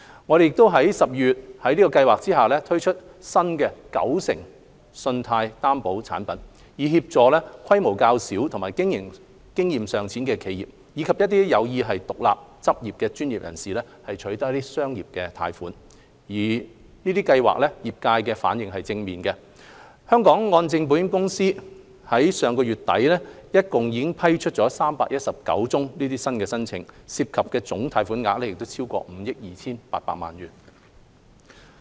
我們亦於12月在計劃下推出新"九成信貸擔保產品"，以協助規模較小和經營經驗尚淺的企業，以及有意獨立執業的專業人士取得商業貸款，業界反應正面，香港按證保險有限公司至上月底已批出319宗申請，涉及總貸款額超過5億 2,800 萬元。